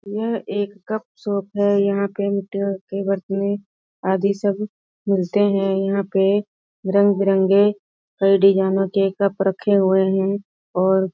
यह एक cup shop है यहाँ पेण्ट के बर्तने अदि सब मिलते हैं यहाँ पे रंग-बिरंगे हर डिजाइनो के कप रखे हुए हैं और--